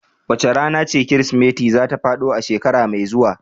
Wace rana ce Kirsimeti za ta faɗo a shekara mai zuwa?